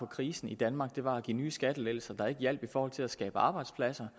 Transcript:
krisen i danmark var at give nye skattelettelser der ikke hjalp i forhold til at skabe arbejdspladser